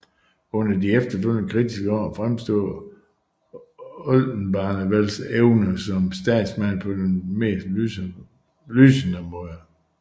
Under de efterfølgende kritiske år fremstod Oldenbarnevelts evner som statsmands på den mest lysende måde